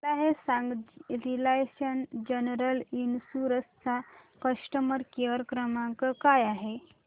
मला हे सांग रिलायन्स जनरल इन्शुरंस चा कस्टमर केअर क्रमांक काय आहे